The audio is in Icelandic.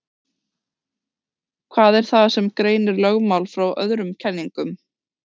Hvað er það sem greinir lögmál frá öðrum kenningum?